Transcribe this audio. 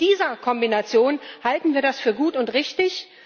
In dieser Kombination halten wir das für gut und richtig.